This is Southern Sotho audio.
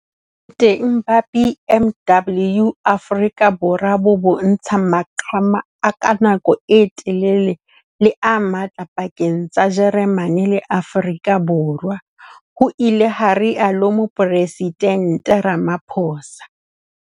Boteng ba BMW Afrika Borwa bo bontsha maqhama a ka nako e telele le a matla pakeng tsa Jeremane le Afrika Borwa, ho ile ha rialo Moporesidente Ramaphosa.